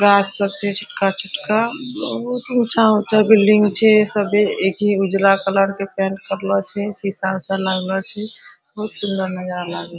गाछ सब छै छोटका-छोटका बहुत ऊंचा-ऊंचा बिल्डिंग छै सब एक ही उजला कलर के पेंट करलो छै शीशा-उशा लगल छै बहुत सुंदर नजारा लगे --